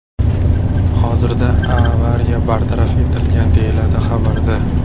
Hozirda avariya bartaraf etilgan”, deyiladi xabarda.